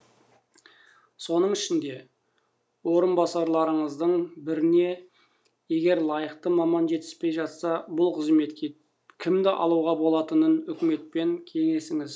соның ішінде орынбасарларыңыздың біріне егер лайықты маман жетіспей жатса бұл қызметке кімді алуға болатынын үкіметпен кеңесіңіз